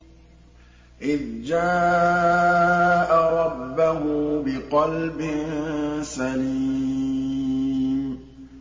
إِذْ جَاءَ رَبَّهُ بِقَلْبٍ سَلِيمٍ